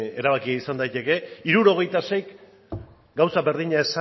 erabakia izan daiteke hirurogeita seik gauza berdina